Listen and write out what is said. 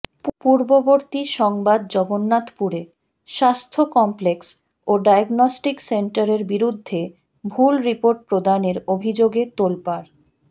পূর্ববর্তী সংবাদজগন্নাথপুরে স্বাস্থ্য কমপ্লেক্স ও ডায়াগনষ্টিক সেন্টারের বিরুদ্ধে ভুল রিপোর্ট প্রদানের অভিযোগে তোলপাড়